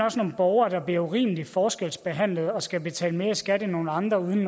borgere der bliver urimelig forskelsbehandlet og skal betale mere i skat end andre uden